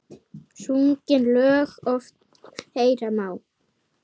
Sungin lög oft heyra má.